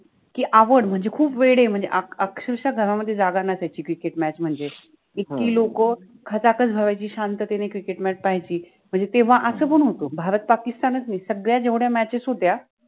कि आपण मनजे खूप वेळ आहे मनजे अक्षरक्ष घरामधे जागा नसायचि cricket MATCH मनजे इतकि लोक खचाखच भरायचि, शांततेन cricket MATCH पाहायचि. मनजे तेव्हा अस पन होत भारत पाकिस्तान च नाहि सगळ्या जेव्ढ्या मॅचेस {matches} होत्या